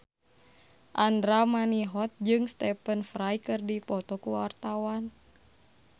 Andra Manihot jeung Stephen Fry keur dipoto ku wartawan